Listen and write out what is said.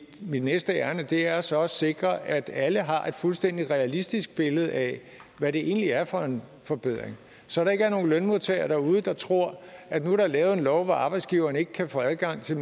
næste ærinde er så at sikre at alle har et fuldstændig realistisk billede af hvad det egentlig er for en forbedring så der ikke er nogen lønmodtagere derude der tror at nu er der lavet en lov om at arbejdsgiveren ikke kan få adgang til